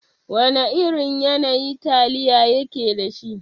Wana irin yanayi taliya yake dashi?